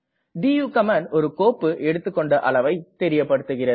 to command ஒரு கோப்பு எடுத்துக்கெண்ட அளவை தெரியப்படுத்துகிறது